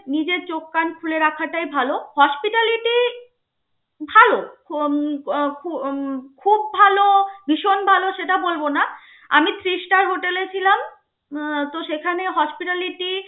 নিজের চোখ কান খুলে রাখাটায় ভালো. hospitality ভালো, উম উম খুব ভালো, ভীষণ ভালো সেটা বলবো না, আমি Three star hotel এ ছিলাম. উম তো সেখানে hospitality